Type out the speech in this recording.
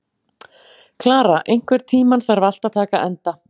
Klara, einhvern tímann þarf allt að taka enda.